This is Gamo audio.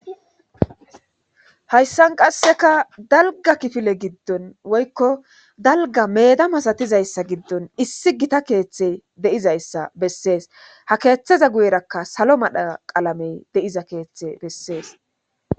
hayssan qasseka dalga kifile giddon woykko dalga meeda masatizayssa giddon issi gita keeththey deizayssa bessees ha keeththaza guyerakka salo madha qalamey de7iza keeththe bessees